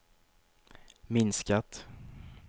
minskat